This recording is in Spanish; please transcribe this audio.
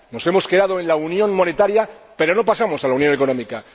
Nos hemos quedado en la unión monetaria, pero no pasamos a la unión económica.